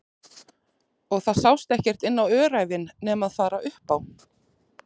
Og það sást ekkert inn á öræfin nema fara upp á